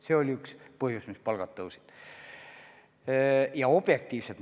See oli üks põhjus, miks palgad tõusid, ja see käis objektiivselt.